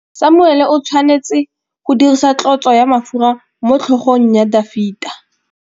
Samuele o tshwanetse go dirisa tlotsô ya mafura motlhôgong ya Dafita.